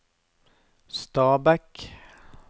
Stabekk